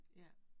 Ja